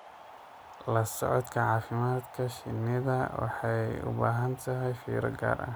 La socodka caafimaadka shinnidu waxay u baahan tahay fiiro gaar ah.